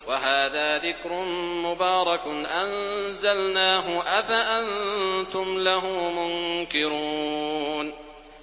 وَهَٰذَا ذِكْرٌ مُّبَارَكٌ أَنزَلْنَاهُ ۚ أَفَأَنتُمْ لَهُ مُنكِرُونَ